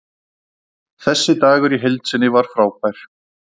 Þessi dagur í heild sinni var frábær.